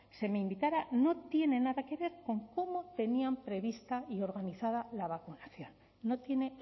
se me invitara no tiene nada que ver con cómo tenían prevista y organizada la vacunación no tiene